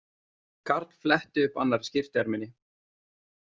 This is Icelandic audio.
Karl fletti upp annarri skyrtuerminni.